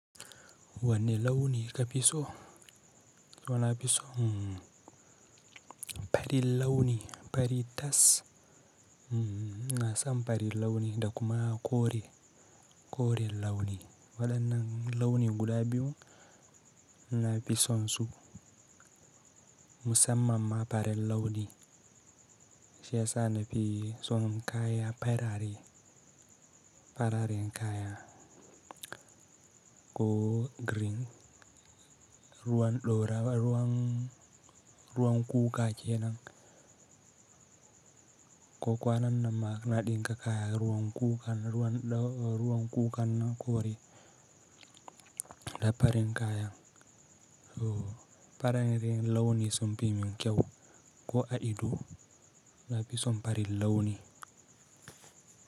Wanne launi ka fi so? So na fi so, mm-h, fari launi, fari tas, mm-h, na sam fari launi da kuma kore, kore launi. Waɗannan launi guda biyu na fi son su. Musamman ma farin launi, shi ya sa na fi son kaya farare, fararen kaya. Ko green, ruwan ɗora, ruwan, ruwan kuka ke nan. Ko kwanan nan ma na ɗinka kaya ruwan kuka, ruwan ɗo, ruwan kukan kore da farin kaya. Oh, fararen launi som pimin kyau ko a ido na fi son farin launi.